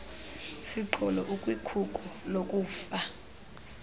siqholo ukwikhuko lokufa